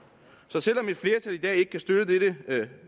så selv om et flertal i dag ikke kan støtte dette